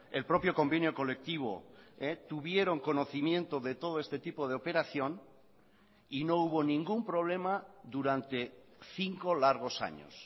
el propio convenio colectivo tuvieron conocimiento de todo este tipo de operación y no hubo ningún problema durante cinco largos años